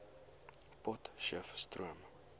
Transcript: potcheftsroom